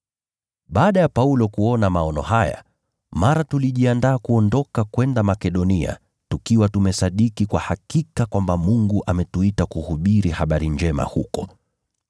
Baada ya Paulo kuona maono haya, tulijiandaa kwa haraka kuondoka kwenda Makedonia tukiwa tumesadiki kuwa Mungu alikuwa ametuita kuhubiri habari njema huko.